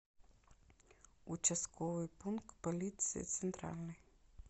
участковый пункт полиции центральный